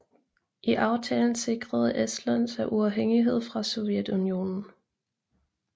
I aftalen sikrede Estland sig uafhængighed fra Sovjetunionen